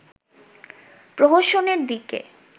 প্রহসনের দিকে